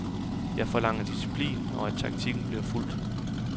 Jeg forlanger disciplin, og at taktikken bliver fulgt.